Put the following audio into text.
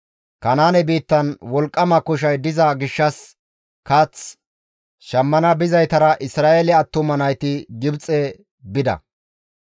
Kanaane biittan wolqqama koshay diza gishshas kath shammana bizaytara Isra7eele attuma nayti Gibxe bida.